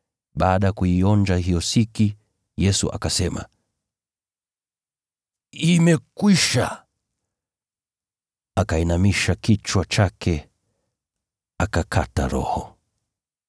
Baada ya kuionja hiyo siki, Yesu akasema, “Imekwisha.” Akainamisha kichwa chake, akaitoa roho yake.